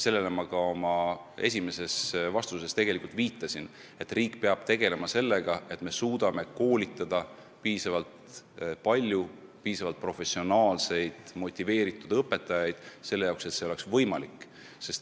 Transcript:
Ma oma esimeses vastuses juba viitasin, et riik peab tegelema sellega, et me suudame koolitada piisavalt palju piisavalt professionaalseid ja motiveeritud õpetajaid, et see üleminek oleks võimalik.